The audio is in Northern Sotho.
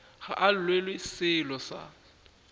ga a llelwe sello sa